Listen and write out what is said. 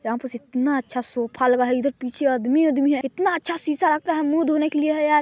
यहाँ पर इतना अच्छा सोफा लगा है इधर पीछे आदमी -उदमी है यहाँ इतना अच्छा सीसा लगता है मुँह धोने के लिए हैं यार --।